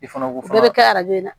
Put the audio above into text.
I fana b'o fɔ o bɛ kɛ arajo ye